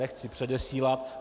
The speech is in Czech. Nechci předesílat.